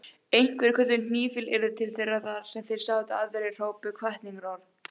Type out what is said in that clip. Einhverjir kölluðu hnýfilyrði til þeirra þar sem þeir sátu, aðrir hrópuðu hvatningarorð.